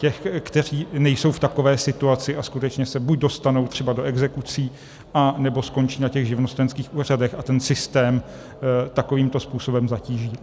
Těch, kteří nejsou v takové situaci a skutečně se buď dostanou třeba do exekucí anebo skončí na těch živnostenských úřadech a ten systém takovýmto způsobem zatíží.